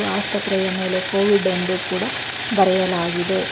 ಆಸ್ಪತ್ರೆಯ ಮೇಲೆ ಕೋವಿಡ್ ಎಂದು ಕೂಡ ಬರೆಯಲಾಗಿದೆ.